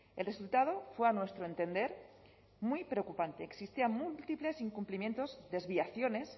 el resultado fue a nuestro entender muy preocupante existían múltiples incumplimientos desviaciones